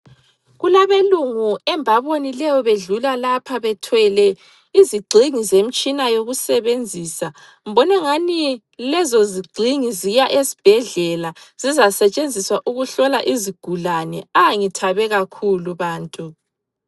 Kulabelungu embabonileyo bedlula lapha bethwele izigxingi zemtshina yokusebenzisa. Mbonengani lezozigxingi ziya esibhedlela zizasetshenziswa ukuhlola izigulane. A! Ngithabe kakhulu bantu!